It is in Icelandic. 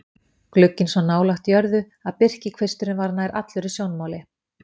Glugginn svo nálægt jörðu að birkikvisturinn er nær allur í sjónmáli.